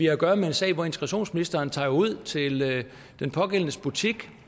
at gøre med en sag hvor integrationsministeren tager ud til den pågældendes butik